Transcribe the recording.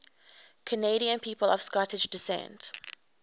canadian people of scottish descent